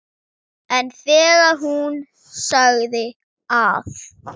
En þegar hún sagði að